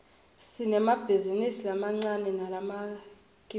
sinemabhizinisi lamancane nalamkifulu